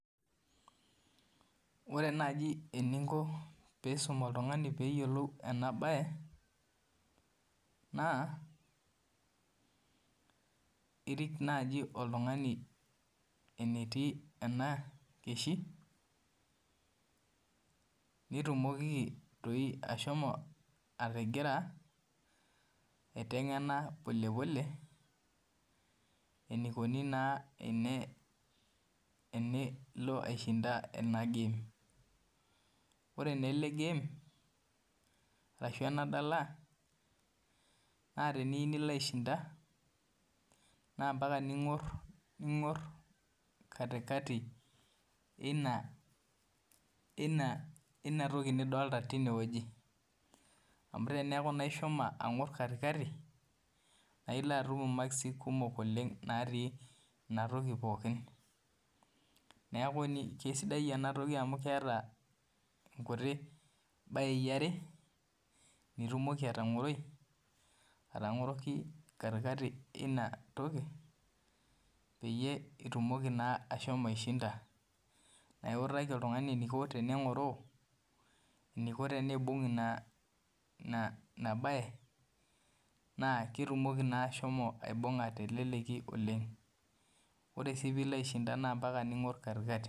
Ore enaaji eninko peisum oltung'ani peeyiolou ena baye naa irik naaji oltung'ani enetii ena keshiu nitumoki ashomo aiteng'en polepole enaikoni tenilo aishinda ena game ashuu ena dala naa teniyieu nilo aishinda naa tening'or katikati eina toki nidolita tenewueji naa keisaidii ena toki amu keeta nkuti bayei are nitumoki atangoroi atangoroki katikati eina toki naa iutaki oltung'ani enaiko teneng'oroo eneiko teneibung ina baye naa ketumoki naa ashomo aibung'a teleleki oleng ore sii peeilo aishinda naa ompaka ning'or katikati